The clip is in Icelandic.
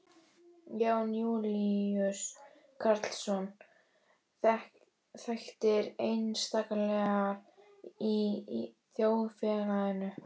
Jón Júlíus Karlsson: Þekktir einstaklingar í þjóðfélaginu?